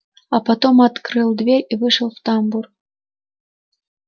а потом открыл дверь и вышел в тамбур